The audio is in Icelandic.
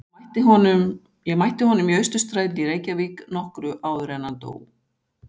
Ég mætti honum í Austurstræti í Reykjavík nokkru áður en hann dó.